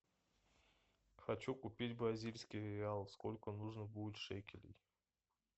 хочу купить бразильский реал сколько нужно будет шекелей